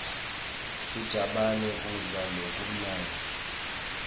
sijabane kudla lokumnandzi